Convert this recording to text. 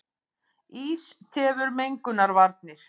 Ís tefur mengunarvarnir